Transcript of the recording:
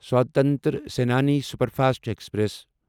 Swatantra Senani superfast express